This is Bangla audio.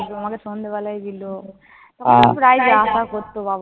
তোমাকে সন্ধেবেলায় দিল। তখন প্রায় যাওয়া আসা করত।